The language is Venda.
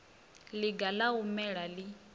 ḽiga ḽa u mela ḽi